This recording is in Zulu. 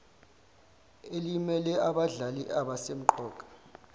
elimele abadlali abasemqoka